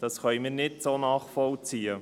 Dies können wir so nicht nachvollziehen.